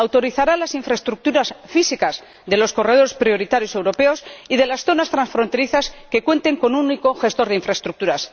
Autorizará las infraestructuras físicas de los corredores prioritarios europeos y de las zonas transfronterizas que cuenten con un único gestor de infraestructuras.